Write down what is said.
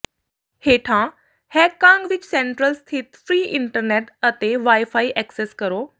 ਹੇਠਾਂ ਹੈਗਕਾਂਗ ਵਿਚ ਸੈਂਟਰਲ ਸਥਿਤ ਫਰੀ ਇੰਟਰਨੈਟ ਅਤੇ ਵਾਈਫਾਈ ਐਕਸੈੱਸ ਕਰੋ